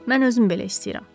Mən özüm belə istəyirəm.